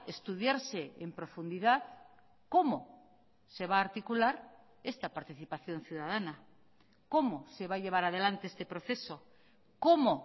estudiarse en profundidad cómo se va a articular esta participación ciudadana cómo se va a llevar adelante este proceso cómo